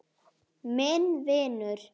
Minn vinur.